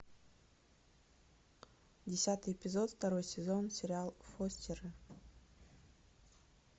десятый эпизод второй сезон сериал фостеры